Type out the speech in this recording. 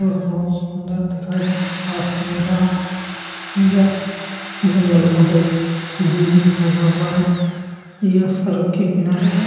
और बहुत सुन्दर दिखाई दे रहा है आकाश नीला यह जंगल बहुत दूर में फैला हुआ है यह सड़क के किनारे है ।